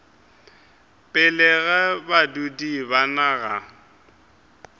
pele ga badudi ba naga